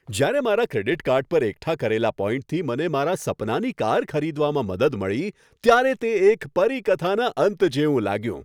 જ્યારે મારા credit card પર એકઠા કરેલા પોઈન્ટથી મને મારા સપનાની કાર ખરીદવામાં મદદ મળી ત્યારે તે એક પરીકથાના અંત જેવું લાગ્યું.